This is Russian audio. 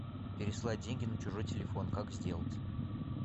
переслать деньги на чужой телефон как сделать